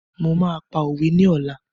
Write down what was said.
Mo máa pa òwe ni ọ̀la.